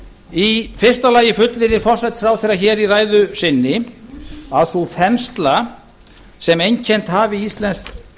í fyrsta lagi fullyrðir forsætisráðherra hér í ræðu sinni að sú þensla sem einkennt hafi íslenskt